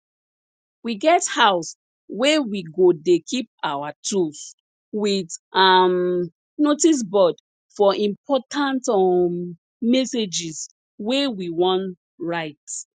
we get house wey we go dey keep our tools wit um notice board for important um messages wey we wan write